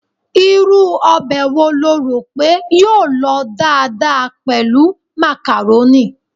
Irú ọbẹ̀ wo lo rò pé yóò lọ dáadáa pẹ̀lú macaroni?